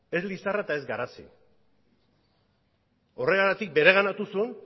ez lizarra eta ez garazi horregatik bereganatu zuen